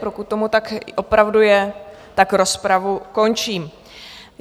Pokud tomu tak opravdu je, tak rozpravu končím.